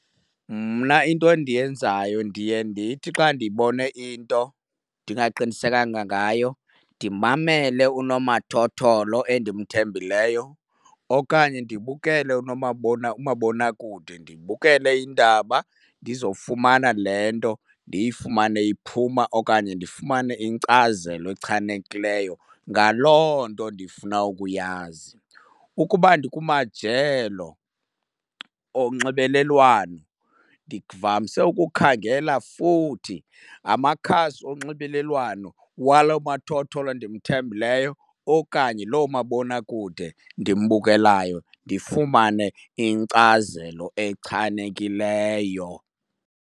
Mna into endiyenzayo ndiye ndithi xa ndibone into ndingaqinisekanga ngayo ndimamele unomathotholo endimthembileyo okanye ndibukele umabonakude, ndibukele iindaba ndizofumana le nto ndiyifumane iphuma okanye ndifumane inkcazelo echanekileyo ngaloo nto ndifuna ukuyazi. Ukuba ndikumajelo onxibelelwano ndivamise ukukhangela futhi amakhasi onxibelelwano walo mathotholo ndimthembileyo okanye loo mabonakude ndimbukelayo ndifumane inkcazelo echanekileyo.